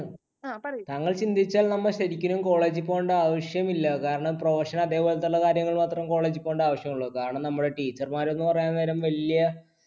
അങ്ങനെ ചിന്തിച്ചാൽ നമ്മൾ ശരിക്കും college ൽ പോവണ്ടേ ആവശ്യമില്ല, കാരണം profession അതേപോലെതുള്ള കാര്യങ്ങൾ മാത്രം college ൽ പോവണ്ടേ ആവശ്യമുള്ളു, കാരണം നമ്മുടെ teacher മാർ എന്ന് പറയാൻ നേരം വലിയ